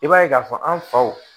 I b'a ye k'a fɔ an faw